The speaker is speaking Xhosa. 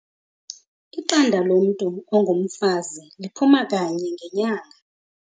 Iqanda lomntu ongumfazi liphuma kanye ngenyanga.